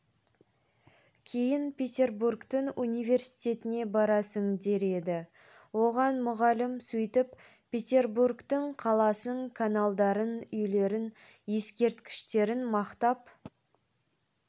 кейін петербургтің университетіне барасың дер еді оған мұғалім сөйтіп петербургтің қаласын каналдарын үйлерін ескерткіштерін мақтап